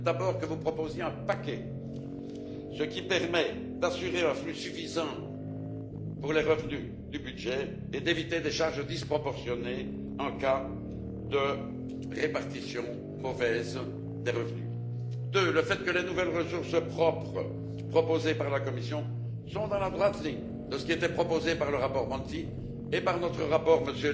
D'abord, le fait que vous proposiez un paquet, ce qui permet d'assurer un flux suffisant pour les revenus du budget et d'éviter des charges disproportionnées en cas de mauvaise répartition des revenus. Ensuite, le fait que les nouvelles ressources propres proposées par la Commission sont dans la droite ligne de ce qui était proposé par le rapport Monti et par notre rapport M.